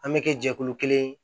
An bɛ kɛ jɛkulu kelen